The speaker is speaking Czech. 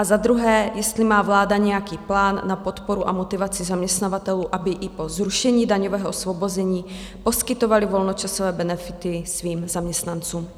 A za druhé, jestli má vláda nějaký plán na podporu a motivaci zaměstnavatelů, aby i po zrušení daňového osvobození poskytovali volnočasové benefity svým zaměstnancům.